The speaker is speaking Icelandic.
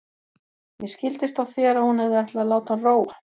Mér skildist á þér að hún hefði ætlað að láta hann róa.